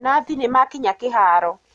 Nathi nĩmakinya kĩhaaro.